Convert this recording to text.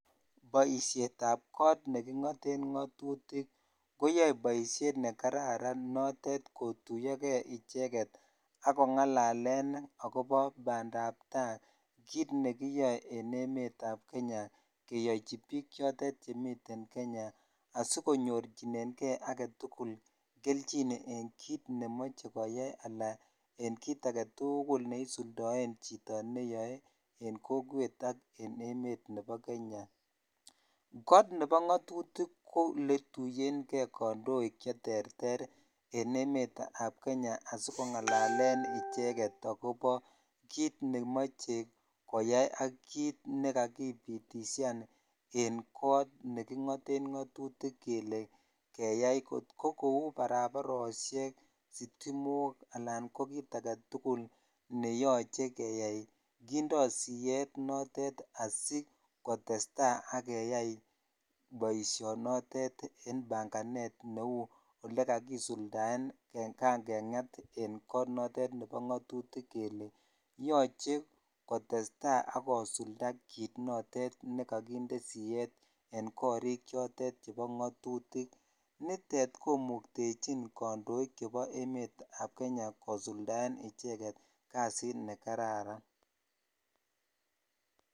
Boisietab got ne kingoten ngatutik koyoe boisiet ne kararan notet kotuiyokei icheket ak ko ngalalen akobo bandabtai, kiit ne kiyoe en emetab Kenya, keyochi piik chotet chemiten Kenya, asikonyorchinenkei ake tugul kelchin en kiit ne moche koyai ala en kiit ake tugul ne isuldoen chito neyoe en kokwet ak en emet nebo Kenya, got nebo ngatutik ko le tuiyenkei kandoik che terter en emetab Kenya asi kongalalen icheket akobo kiit ne moche koyai ak kiit ne kakipitisian en got ne kingoten ngatutik kele keyai, kot ko kou barabarosiek, sitimok, alan ko kiit ake tugul ne yoche keyai, kindo siyet notet asi kotestai ak keyai boisionotet en panganet neu olekakisuldaen kangengat en got notet nebo ngatutik kele yoche kotestai ak kosulda kiit notet ne kakinde siyet en gorik chotet chebo ngatutik, nitet komuktechin kandoik chebo emetab Kenya kosuldaen icheket kasit ne kararan.